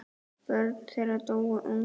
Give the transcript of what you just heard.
Börn þeirra dóu ung.